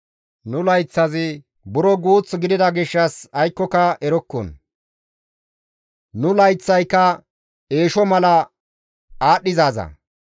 Nu layththazi buro guuth gidida gishshas nuni aykkoka erokko; nu layththayka eesho mala aadhdhizaaza.